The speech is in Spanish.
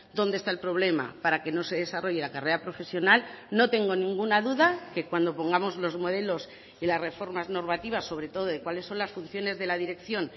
dónde está el problema para que no se desarrolle la carrera profesional no tengo ninguna duda que cuando pongamos los modelos y las reformas normativas sobre todo de cuáles son las funciones de la dirección